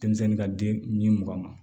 Denmisɛnnin ka den ni mugan